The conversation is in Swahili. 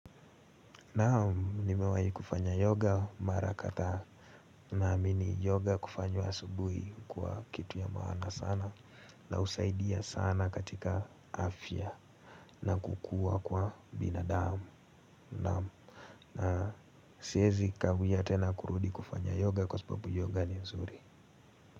Naam nimewai kufanya yoga mara kadhaa naamini yoga kufanywa asubui kuwa kitu ya maana sana na husaidia sana katika afya na kukuwa kwa binadamu naam na siezi kawia tena kurudi kufanya yoga kwa sababu yoga ni nzuri.